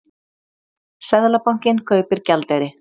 Seðlabankinn kaupir gjaldeyri